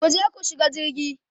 kuje ku shiga jirgi!